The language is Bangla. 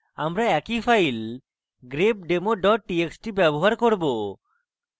আমি একই file grepdemo txt ব্যবহার করব